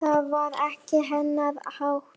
Það var ekki hennar háttur.